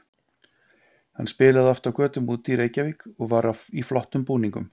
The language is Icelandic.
Hann spilaði oft á götum úti í Reykjavík og var í flottum búningum.